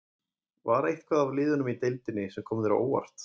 Var eitthvað af liðunum í deildinni sem kom þér á óvart?